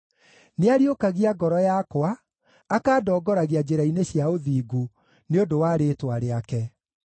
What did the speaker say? Nĩariũkagia ngoro yakwa, akandongoragia njĩra-inĩ cia ũthingu, nĩ ũndũ wa rĩĩtwa rĩake.